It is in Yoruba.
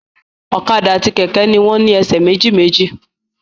Ọ̀kadà àti kẹ̀kẹ́ ni wọ́n ní ẹsẹ̀ méjì méjì